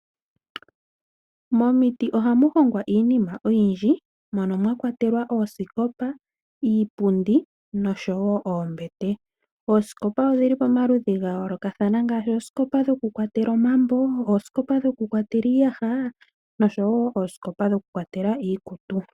Momiti oha muhongwa iinima oyindji mono mwakwatelwa oosikopa, iipundi noshowo oombete. Oosikopa odhili pomaludhi gayolokathana ngaashi oosikopa dhoku kwatela omambo, oosikopa dhoku kwatela iiyaha noshowo oosikopa dhoku kwatela iikutu.